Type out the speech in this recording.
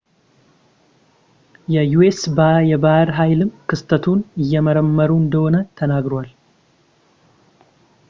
የዩኤስ የባህር ኃይልም ክስተቱን እየመረመሩ እንደሆነ ተናግረዋል